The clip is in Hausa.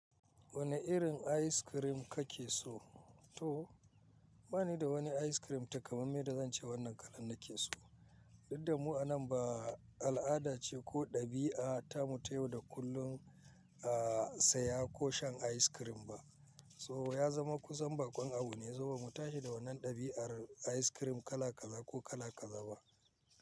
Wane irin ayis kirim kake so? To bani da wani ayis kirim takamamme da zance wannan kala nake so. Duk damu a nan ba al'ada ce ko ɗabi'a ta mu tayowa da kullum, ah, saya ko shan ayis kirim ba. So ya zama kusan bakon abu ne, zuba mu tashi da wannan ɗabi'ar ayis kirim kala kaza ko kala kaza ba.